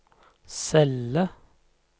celle